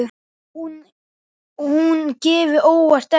Að hún gefi óvænt eftir.